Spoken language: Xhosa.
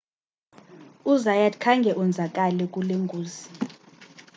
uzayat khange onzakale kulo ngozi